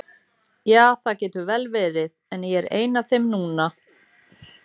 Ja, það getur vel verið, en ég er ein af þeim núna.